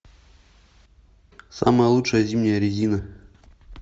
самая лучшая зимняя резина